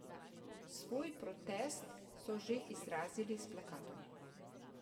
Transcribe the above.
Svoj protest so že izrazili s plakatom.